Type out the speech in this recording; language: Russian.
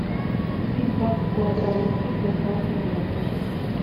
купить двадцать килограмм муки с доставкой на дом